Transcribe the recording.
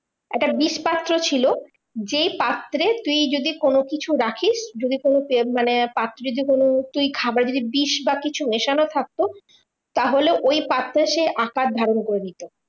একটা বিষপাত্র ছিল। যেই পাত্রে তুই যদি কোনো কিছু রাখিস, যদি কোনো মানে পাখি যদি কোনো তুই খাবার যদি বিষ বা কিছু মেশানো থাকতো, তাহলে ওই পাত্রে সে আকার ধারণ করে নিতো।